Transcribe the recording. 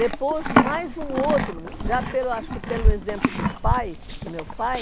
Depois, mais um outro, já pelo, acho que pelo exemplo do pai, do meu pai,